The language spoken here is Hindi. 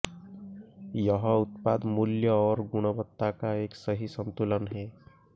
यह उत्पाद मूल्य और गुणवत्ता का एक सही संतुलन है